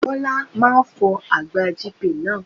Bọ́lá máa fọ àgbá GP náà.